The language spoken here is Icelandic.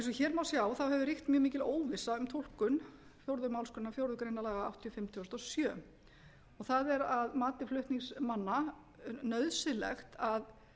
hér má sjá hefur ríkt mjög mikil óvissa um túlkun fjórðu málsgrein fjórðu grein laga númer áttatíu og fimm tvö þúsund og sjö það er að mati flutningsmanna nauðsynlegt að